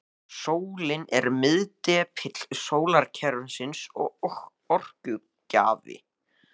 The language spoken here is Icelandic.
Sólin er miðdepill sólkerfisins og orkugjafi.